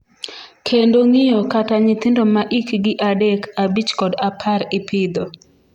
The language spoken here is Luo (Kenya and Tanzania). kendo ng'iyo kata nyithindo ma ikgi adek, abich kod apar ipidho